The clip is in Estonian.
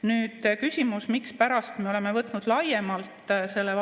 Nüüd küsimus, mispärast me oleme võtnud selle vastu laiemalt.